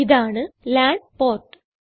ഇതാണ് LAN port